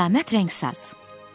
Qiyamət rəngsaz!